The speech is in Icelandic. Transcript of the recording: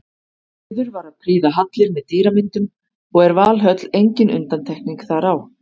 Siður var að prýða hallir með dýramyndum og er Valhöll engin undantekning þar á.